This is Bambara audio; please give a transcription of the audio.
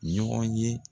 Ɲɔgɔn ye